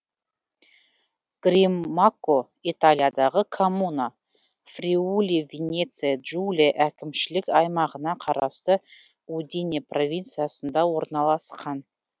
гримакко италиядағы коммуна фриули венеция джулия әкімшілік аймағына қарасты удине провинциясында орналасқан